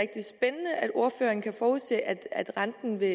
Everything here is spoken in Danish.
ordføreren kan forudse at at renten vil